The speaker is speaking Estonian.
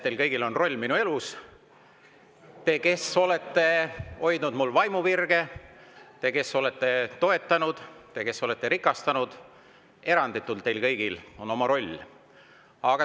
Teil kõigil on olnud roll minu elus: teil, kes te olete hoidnud mu vaimu virge, teil, kes te olete mind toetanud, teil, kes te olete mind rikastanud – teil kõigil on eranditult oma roll.